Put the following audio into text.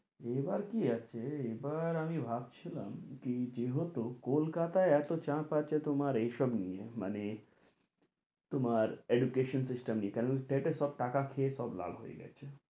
এবার কি আছে এবার আমি ভাবছিলাম কি যেহেতু কোলকাতায় এতো চাপ আছে তোমার এই সব নিয়ে মানে তোমার education system নিয়ে কারণ টেটে সব টাটা খেয়ে সব লাল হয়ে গেছে